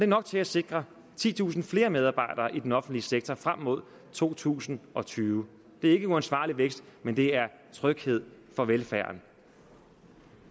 nok til at sikre titusind flere medarbejdere i den offentlige sektor frem mod to tusind og tyve det er ikke uansvarlig vækst men det er tryghed for velfærden